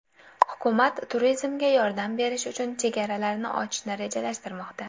Hukumat turizmga yordam berish uchun chegaralarini ochishni rejalashtirmoqda.